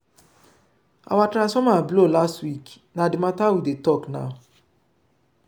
our transformer blow last week na di mata we dey tok now.